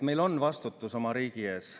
Meil on vastutus oma riigi ees.